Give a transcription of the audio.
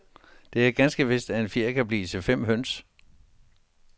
Det er ganske vist, at en fjer kan blive til fem høns.